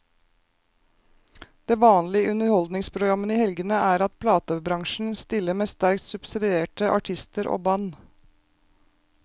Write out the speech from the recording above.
Det vanlige i underholdningsprogrammene i helgene er at platebransjen stiller med sterkt subsidierte artister og band.